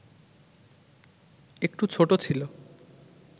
একটু ছোটো ছিল